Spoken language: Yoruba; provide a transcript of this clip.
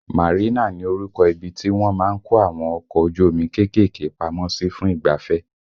Marina ni orúkọ ibi tí wọ́n má ń kó àwọn ọkọ ojú omi kéékèèké pamọ́ sí fún ìgbafẹ́